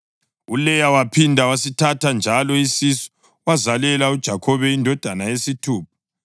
ULeya waphinda wasithatha njalo isisu wazalela uJakhobe indodana yesithupha.